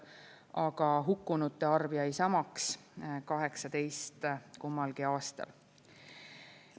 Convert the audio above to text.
Aga hukkunute arv jäi samaks – 18 kummalgi aastal.